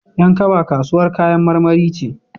Yan kaba kasuwar kayan marmari ce.